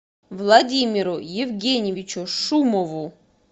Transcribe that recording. владимиру евгеньевичу шумову